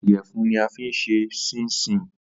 Ìyẹ̀fun ni a fín ṣe ṣíńṣiǹ